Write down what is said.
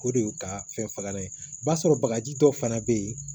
O de y'u ka fɛn fagalan ye b'a sɔrɔ bagaji dɔ fana bɛ yen